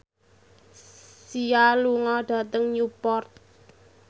Sia lunga dhateng Newport